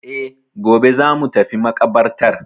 E, gobe za mu tafi maƙabartar.